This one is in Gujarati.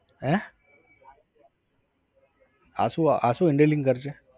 હે? આશુ, આશુ handling કરશે?